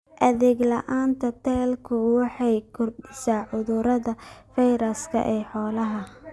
Adeeg la'aanta tallaalku waxay kordhisaa cudurrada fayraska ee xoolaha.